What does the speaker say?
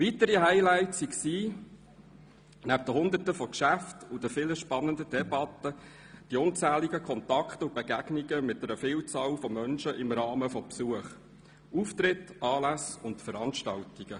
Weitere Highlights waren neben Hunderten von Geschäften und vielen spannenden Debatten die unzähligen Kontakte und Begegnungen mit einer Vielzahl von Menschen im Rahmen von Besuchen, Auftritten, Anlässen und Veranstaltungen.